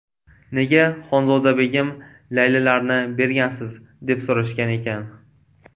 Nega Xonzodabegim, Laylilarni bergansiz?” deb so‘rashgan ekan.